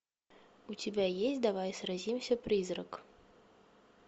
у тебя есть давай сразимся призрак